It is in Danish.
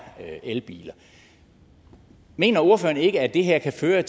elbiler mener ordføreren ikke at det her kan føre